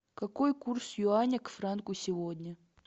какой курс юаня к франку сегодня